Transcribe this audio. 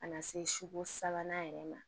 Ka na se ko sabanan yɛrɛ ma